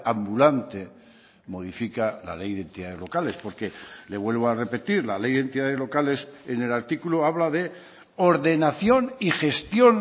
ambulante modifica la ley de entidades locales porque le vuelvo a repetir la ley de entidades locales en el artículo habla de ordenación y gestión